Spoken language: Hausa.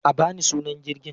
A ba ni sunan jirgin!